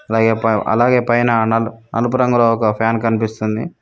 అలాగే అలాగే పైన నలుపు రంగులో ఒక ఫ్యాన్ కనిపిస్తుంది.